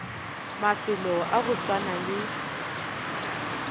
mafelo a go swana le